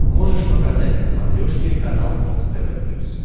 можешь показать на смотрешке канал бокс тв плюс